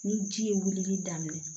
Ni ji ye wulili daminɛ